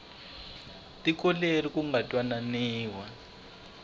tiko leri ku nga twananiwa